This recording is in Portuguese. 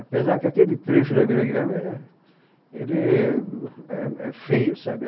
Apesar que aquele trecho da Vila Guilherme é, éh é, ele é feio, sabe?